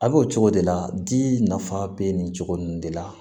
A bɛ o cogo de la di nafa be nin cogo nin de la